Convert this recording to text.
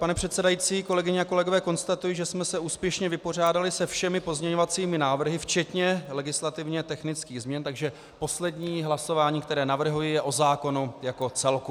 Pane předsedající, kolegyně a kolegové, konstatuji, že jsme se úspěšně vypořádali se všemi pozměňovacími návrhy včetně legislativně technických změn, takže poslední hlasování, které navrhuji, je o zákonu jako celku.